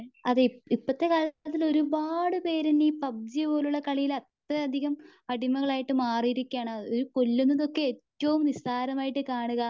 അതെ ഇപ്പത്തെ കാലത്തു അതിന് ഒരുപാടു പേര് പബ്‌ജി പോലുള്ള കളിയിൽ അത്രയധികം അടിമകളായിട്ട് മാറിയിരിക്കുവാണ്. ഒരു കൊല്ലുന്നതൊക്കെ ഏറ്റവും നിസാരമായിട്ട് കാണുക.